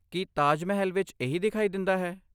ਕੀ ਤਾਜ ਮਹਿਲ ਵਿਚ ਇਹੀ ਦਿਖਾਈ ਦਿੰਦਾ ਹੈ?